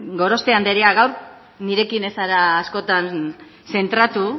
gorospe anderea gaur nirekin ez zara askotan zentratu